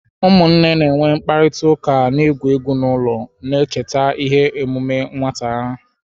Ụmụnne na-enwe mkparịta ụka na-egwu egwu n'ụlọ, na-echeta ihe omume nwata ha.